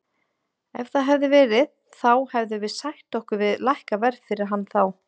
Ef það hefði verið þá hefðum við sætt okkur við lækkað verð fyrir hann þá.